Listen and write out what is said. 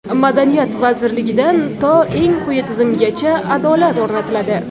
Madaniyat vazirligidan to eng quyi tizimgacha adolat o‘rnatiladi.